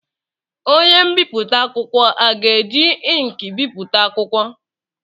Onye mbipụta akwụkwọ a ga-eji ịnkị bipụta akwụkwọ?